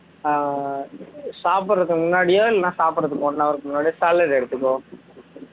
ஆஹ் சாப்பிடுறதுக்கு முன்னாடியோ இல்லன்னா சாப்பிடுறதுக்கு one hour க்கு முன்னாடியோ salad எடுததுக்கோ